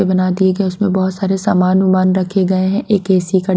बना दिए गए उसमें बहुत सारे सामान विमान रखे गए हैं एक एसी का--